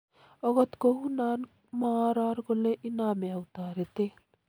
Okot kounoni, mooror kole inome au toretet .